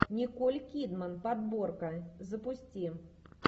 николь кидман подборка запусти